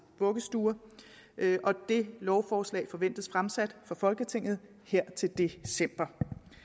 vuggestuer det lovforslag forventes fremsat for folketinget her til december